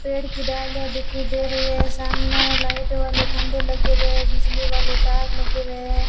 पेड़ की डाले दिखाई दे रही है सामने लाइट वाले खंभे लगे हुए है बिजली वाले तार लगे हुए है।